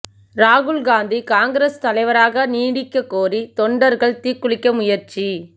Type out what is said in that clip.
ராகுல் காந்தி காங்கிரஸ் தலைவராக நீடிக்க கோரி தொண்டர்கள் தீக்குளிக்க முயற்சி